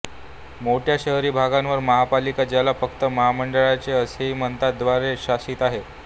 मोठ्या शहरी भागांवर महापालिका ज्याला फक्त महामंडळे असेही म्हणतात द्वारे शासित आहेत